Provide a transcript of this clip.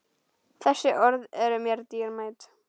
Þessi orð eru mér dýrmæt.